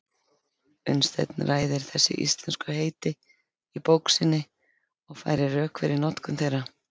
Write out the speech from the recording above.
Unnsteinn ræðir þessi íslensku heiti í bók sinni og færir rök fyrir notkun þeirra.